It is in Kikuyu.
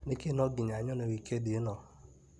Nĩkĩĩ no nginya nyone wikendi ĩno ?